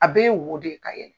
A bɛɛ won de ye ka yɛlɛ.